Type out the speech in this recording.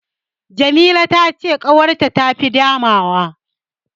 Jamila ta ce ƙawarta ta tafi Adamawa.